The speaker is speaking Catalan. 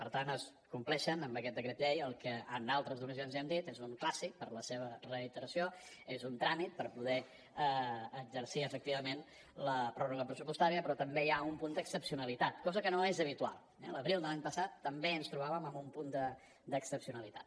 per tant es compleix amb aquest decret llei el que en altres ocasions ja hem dit és un clàssic per la seva reiteració és un tràmit per poder exercir efectivament la pròrroga pressupostària però també hi ha un punt d’excepcionalitat cosa que no és habitual eh l’abril de l’any passat també ens trobàvem amb un punt d’excepcionalitat